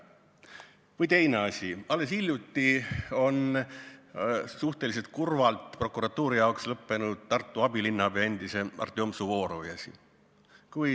Või teine asi: alles hiljuti on prokuratuuri jaoks suhteliselt kurvalt lõppenud Tartu endise abilinnapea Artjom Suvorovi asi.